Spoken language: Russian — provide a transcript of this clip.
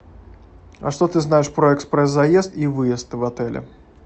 а что ты знаешь про экспресс заезд и выезд в отеле